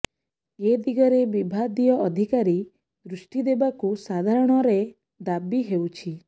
ଏ ଦିଗରେ ବିଭାଦୀୟ ଅଧିକାରୀ ଦୃଷ୍ଟି ଦେବାକୁ ସାଧାରଣ ରେ ଦାବି ହେଉଛି